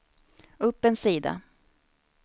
upp en sida